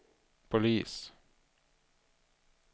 polis